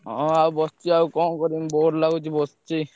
ହଁ ଆଉ ବସଚି ଆଉ କଣ କରିବି bore ଲାଗୁଚି ବସଚି।